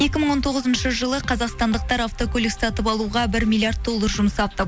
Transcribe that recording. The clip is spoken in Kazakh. екі мың он тоғызыншы жылы қазақстандықтар автокөлік сатып алуға бір миллиард доллар жұмсапты